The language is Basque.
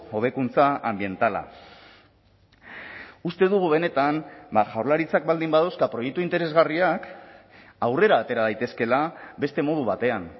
hobekuntza anbientala uste dugu benetan jaurlaritzak baldin badauzka proiektu interesgarriak aurrera atera daitezkeela beste modu batean